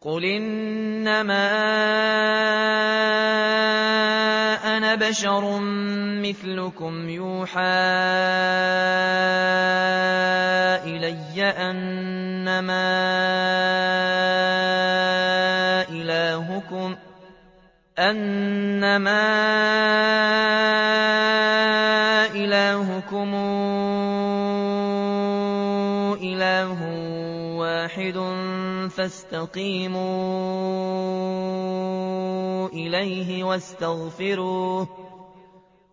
قُلْ إِنَّمَا أَنَا بَشَرٌ مِّثْلُكُمْ يُوحَىٰ إِلَيَّ أَنَّمَا إِلَٰهُكُمْ إِلَٰهٌ وَاحِدٌ فَاسْتَقِيمُوا إِلَيْهِ وَاسْتَغْفِرُوهُ ۗ